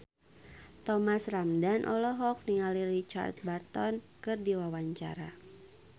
Thomas Ramdhan olohok ningali Richard Burton keur diwawancara